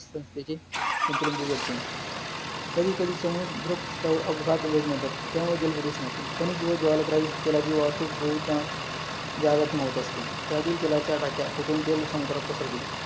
कधी कधी समुद्र प्रवर्गा अपघात घडून येतात, त्यामुळे जलप्रदूषण होते, खनिज व ज्वालकायी तेलाची वाहतूक बहुतदा, जारतं होत असते, त्यातील तेलाचा ढाचा फुटून तेल समुद्रात पसरते